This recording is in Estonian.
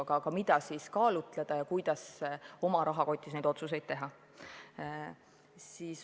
Aga siiski on vaja teada, mida kaalutleda ja kuidas oma rahakoti sisu osas otsuseid teha.